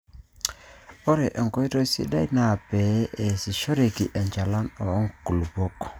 ore enkoitoi sidai naa pee eeasishoreki enchalan oo nkulupuok